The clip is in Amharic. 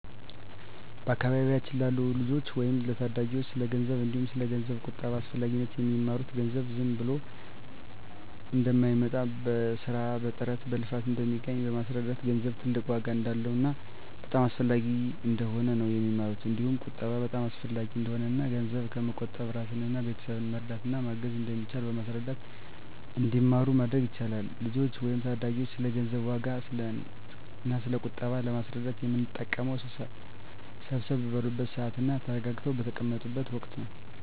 በአካባቢያችን ላሉ ልጆች ወይም ለታዳጊዎች ስለ ገንዘብ እንዲሁም ስለ ገንዘብ ቁጠባ አስፈላጊነት የሚማሩት ገንዘብ ዝም ብሎ እንደማይመጣ በስራ በጥረት በልፋት እንደሚገኝ በማስረዳት ገንዘብ ትልቅ ዋጋ እንዳለውና በጣም አስፈላጊ እንደሆነ ነው የሚማሩት እንዲሁም ቁጠባ በጣም አሰፈላጊ እንደሆነና እና ገንዘብ በመቆጠብ እራስንና ቤተሰብን መርዳት እና ማገዝ እንደሚቻል በማስረዳት እንዲማሩ ማድረግ ይቻላል። ልጆችን ወይም ታዳጊዎችን ስለ ገንዘብ ዋጋ እና ስለ ቁጠባ ለማስረዳት የምንጠቀመው ሰብሰብ ባሉበት ስዓት እና ተረጋግተው በተቀመጡት ወቀት ነው።